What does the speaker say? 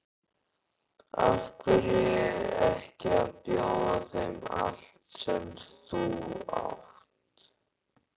Af hverju ekki að bjóða þeim allt sem þú átt?